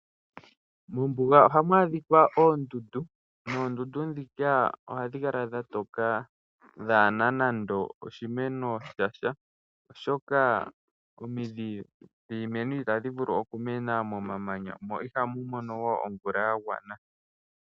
Mombuga ohamu adhikwa oondundu, noondundu ndhika ohadhi kala dha toka kaadhi na nando oshimeno sha sha oshoka omidhi dhiimeno itadhi vulu okumena momamanya mo ihamu mono omvula yagwana.